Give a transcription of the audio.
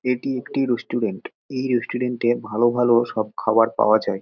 এটি একটি রেস্টুরেন্ট । এই রেস্টুরেন্ট -এ ভালো ভালো সব খাওয়ার পাওয়া যায় ।